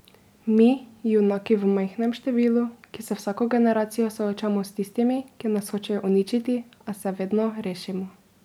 Mi, junaki v majhnem številu, ki se vsako generacijo soočamo s tistimi, ki nas hočejo uničiti, a se vedno rešimo.